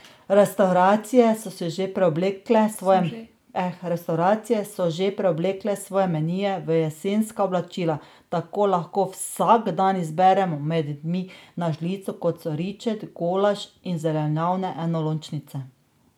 Restavracije so že preoblekle svoje menije v jesenska oblačila, tako lahko vsak dan izbiramo med jedmi na žlico, kot so ričet, golaž in zelenjavne enolončnice.